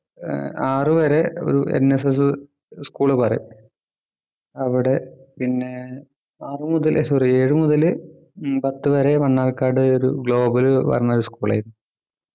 ഏർ ആറ് വരെ ഒരു NSSschool പറയും അവിടെ പിന്നെ ആറു മുതൽ sorry ഏഴു മുതൽ ഉം പത്തു വരെ മണ്ണാർക്കാട് ഒരു global പറഞ്ഞ ഒരു school ൽ ആയിരുന്നു